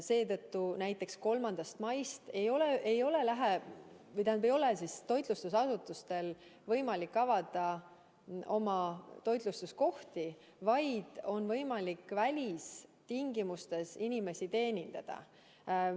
Seetõttu 3. maist ei ole toitlustusasutustel võimalik oma ruume avada, vaid on võimalik välitingimustes inimesi teenindada.